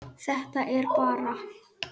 Þetta er bara.